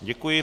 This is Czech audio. Děkuji.